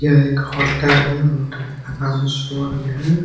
यह एक होटल है | होटल का नाम स्वर्ग है ।